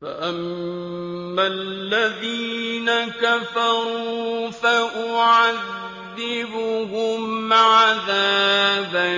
فَأَمَّا الَّذِينَ كَفَرُوا فَأُعَذِّبُهُمْ عَذَابًا